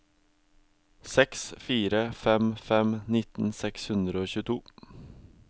seks fire fem fem nitten seks hundre og tjueto